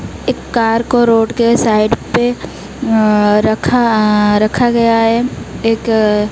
एक कार को रोड के साइड पे अह रखा अह रखा गया है एक --